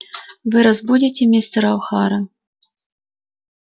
вы разбудите мистера охара